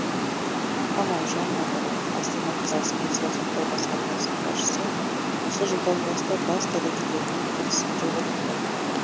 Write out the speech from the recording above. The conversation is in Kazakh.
қамалжан надыров астана қаласы денсаулық сақтау басқармасының басшысы осы жылдан бастап бас дәрігерлермен келісімге отырдық